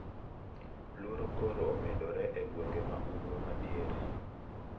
Luoro koro omedore e gwenge ma ugwe madiere.